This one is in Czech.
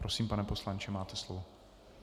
Prosím, pane poslanče, máte slovo.